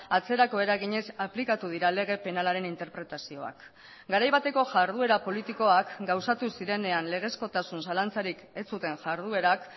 atzerako eraginez aplikatu dira lege penalaren interpretazioak garai bateko jarduera politikoak gauzatu zirenean legezkotasun zalantzarik ez zuten jarduerak